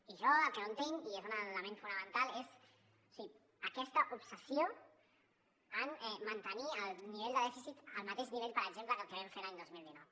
i jo el que no entenc i és un element fonamental és o sigui aquesta obsessió en mantenir el nivell de dèficit al mateix nivell per exemple que el que vam fer l’any dos mil dinou